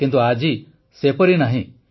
କିନ୍ତୁ ଆଜି ସେପରି ନାହିଁ